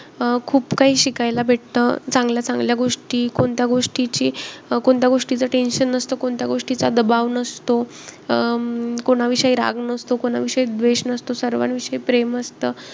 अं खूप काही शिकायला भेटत चांगल्या-चांगल्या गोष्टी. कोणत्या गोष्टीची~ कोणत्या गोष्टीचं tention नसतं. कोणत्या गोष्टीचा दबाव नसतो. अं कोणाविषयी राग नसतो. कोणाविषयी द्वेष नसतो. सर्वाविषयी प्रेम असतं.